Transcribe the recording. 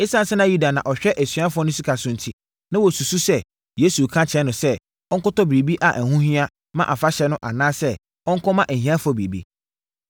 Esiane sɛ Yuda na ɔhwɛ asuafoɔ no sika so enti, na wɔsusu sɛ, Yesu reka akyerɛ no sɛ, ɔnkɔtɔ biribi a ɛho hia ma afahyɛ no anaasɛ ɔnkɔma ahiafoɔ biribi.